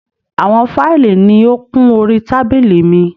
Àwọn fáìlì ni ó kún orí tábílì mi.